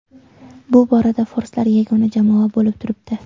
Bu borada forslar yagona jamoa bo‘lib turibdi.